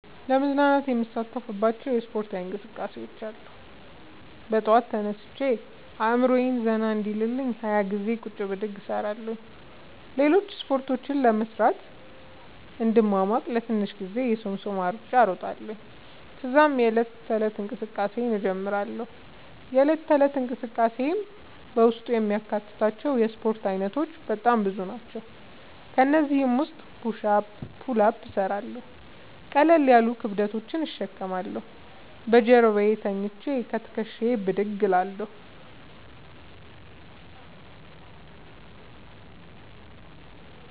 ለመዝናናት የምሣተፍባቸዉ እስፖርታዊ እንቅስቃሤዎች አሉ። በጠዋት ተነስቼ አእምሮየ ዘና እንዲል 20ገዜ ቁጭ ብድግ እሰራለሁ። ሌሎችን እስፖርቶች ለመሥራት እንድሟሟቅ ለትንሽ ጊዜ የሶምሶማ እሩጫ እሮጣለሁ። ተዛም የዕለት ተለት እንቅስቃሴየን እጀምራለሁ። የእለት ተለት እንቅስቃሴየም በውስጡ የሚያካትታቸዉ የእስፖርት አይነቶች በጣም ብዙ ናቸዉ። ከእነዚህም ዉስጥ ፑሽ አፕ ፑል አፕ እሠራለሁ። ቀለል ያሉ ክብደቶችን እሸከማለሁ። በጀርባየ ተኝቸ ከትክሻየ ብድግ እላለሁ።